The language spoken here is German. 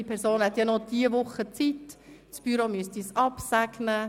Diese Person hätte nur diese Woche Zeit, und das Büro müsste das Ganze noch absegnen.